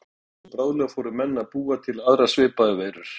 Hún breiddist hratt út og bráðlega fóru menn að búa til aðrar svipaðar veirur.